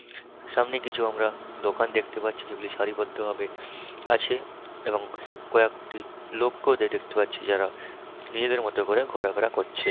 সামনে কিছু আমরা দোকান দেখতে পাচ্ছি যেগুলি সারিবদ্ধ ভাবে আছে এবং কএকটি লোককেও দে দেখতে পাচ্ছি যারা নিজেদের মতো করে ঘোরাফেরা করছে।